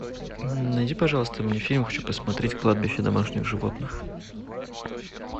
найди пожалуйста мне фильм хочу посмотреть кладбище домашних животных